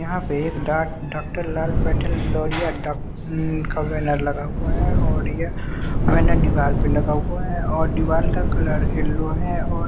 यहाँ पे एक डॉ डॉक्टर लाल पैथोलोरिया डॉ का बैनर लगा हुआ है और यह बैनर दीवाल पे लगा हुआ है और दीवाल का कलर येल्लो है और --